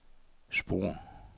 spor